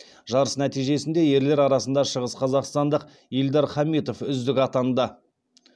жарыс нәтижесінде ерлер арасында шығыс қазақстандық ильдар хамитов үздік атанды